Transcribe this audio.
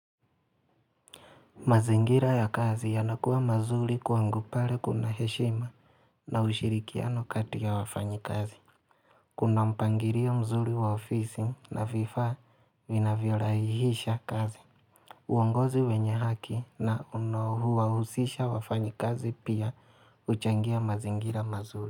Mazingira ya kazi yanakuwa mazuri kwangu pale kuna heshima na ushirikiano kati ya wafanyi kazi. Kuna mpangirio mzuri wa ofisi na vifyaa minavyoraihisha kazi. Uongozi wenye haki na unaouwahusisha wafanyi kazi pia huchangia mazingira mazuri.